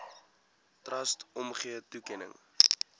trust omgee toekenning